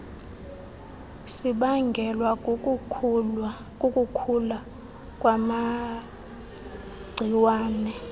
sibangelwa kukukhula kwamagciwane